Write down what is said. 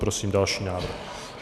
Prosím další návrh.